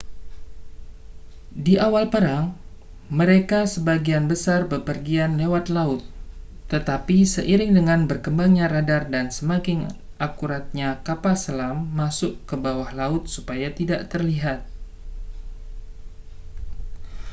di awal perang mereka sebagian besar bepergian lewat laut tetapi seiring dengan berkembangnya radar dan semakin akuratnya kapal selam masuk ke bawah laut supaya tidak terlihat